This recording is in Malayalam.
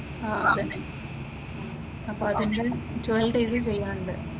ആഹ് അത് തന്നെ അപ്പൊ അതിന്റെ ട്വൽവ് ഡേയ്സ് ചെയ്യാനുണ്ട്.